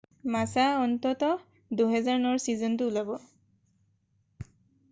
মাছা অন্ততঃ 2009ৰ ছীজনটো ওলাব